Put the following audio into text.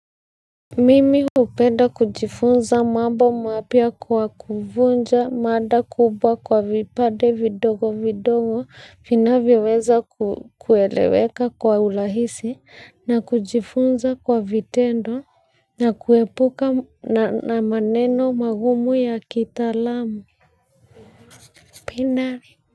Mimi hupenda kujifunza mambo mapya kwa kuvunja mada kubwa kwa vipade vidogo vidogo vinavyoweza kueleweka kwa urahisi na kujifunza kwa vitendo na kuepuka na maneno magumu ya kitaalamu pina.